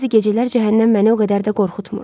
Bəzi gecələr cəhənnəm məni o qədər də qorxutmur.